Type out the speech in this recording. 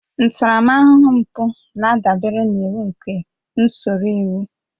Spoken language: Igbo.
Ntaramahụhụ mpụ na-adabere n'iwu nke usoro iwu